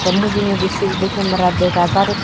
te mujungedi sisi di kemera dega jar ek.